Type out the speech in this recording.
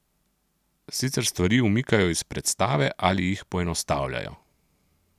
Sicer stvari umikajo iz predstave ali jih poenostavljajo.